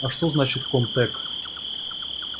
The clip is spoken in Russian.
а что значит ком-тек